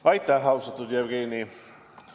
Aitäh, austatud Jevgeni!